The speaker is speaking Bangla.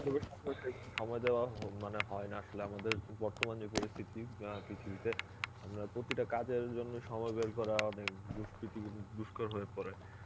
বধু বান্দবের সঙ্গেও সেরকম সময় দেওয়া হ~ মানে হয় না আসলে আমাদের বর্তমান যে পরিস্থিতি অ্যাঁ পৃথিবীতে আমরা প্রতিটা কাজের জন্যে সময় বের করা অনেক দুস্কৃতি দুস্কর হয়ে পরে